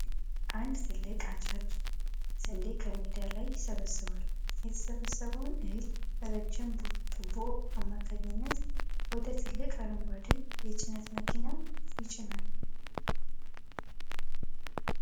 አንድ ትልቅ አጫጅ ስንዴ ከሜዳ ላይ ይሰበስባል ። የተሰበሰበውን እህል ረጅም ቱቦ አማካኝነት ወደ ትልቅ አረንጓዴ የጭነት መኪና ይጭናል ።